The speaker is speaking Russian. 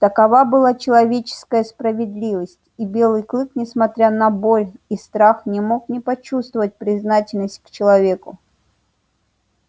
такова была человеческая справедливость и белый клык несмотря на боль и страх не мог не почувствовать признательность к человеку